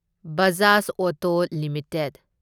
Bajaj auto limited